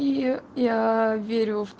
и я верю в